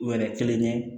Wɛrɛ kelen ye